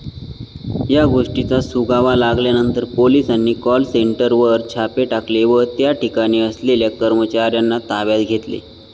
या गोष्टीचा सुगावा लागल्यानंतर पोलिसांनी कॉल सेंटरवर छापे टाकले व त्याठिकाणी असलेल्या कर्मचार्यांना ताब्यात घेतले.